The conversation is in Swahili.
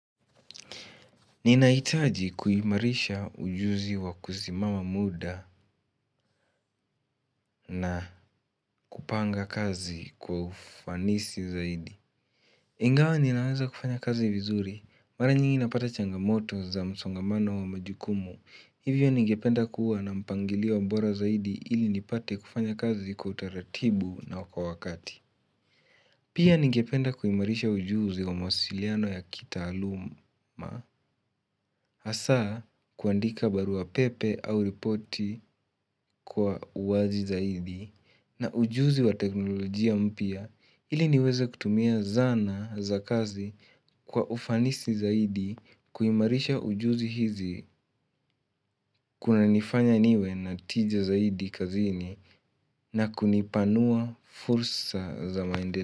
Ninahitaji kuimarisha ujuzi wa kusimama muda na kupanga kazi kwa ufanisi zaidi. Ingawa ninaweza kufanya kazi vizuri, mara nyingi napata changamoto za msongamano wa majukumu. Hivyo ningependa kuwa na mpangilio wa bora zaidi ili nipate kufanya kazi kwa utaratibu na kwa wakati. Pia ningependa kuhimarisha ujuzi wa masiliano ya kitaaluma hasa kuandika barua pepe au ripoti kwa uwazi zaidi na ujuzi wa teknolojia mpya ili niweze kutumia zana za kazi kwa ufanisi zaidi kuimarisha ujuzi hizi kuna nifanya niwe na tija zaidi kazini na kunipanua fursa za maendele.